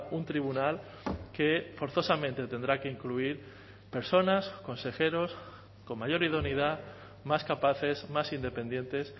un tribunal que forzosamente tendrá que incluir personas consejeros con mayor idoneidad más capaces más independientes